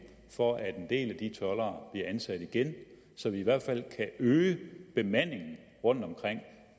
for at en del af de toldere bliver ansat igen så vi i hvert fald kan øge bemandingen rundtomkring